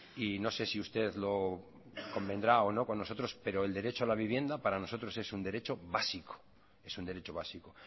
y no sé si usted lo convendrá o no con nosotros pero el derecho a la vivienda para nosotros es un derecho básico